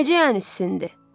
Necə yəni sizindi?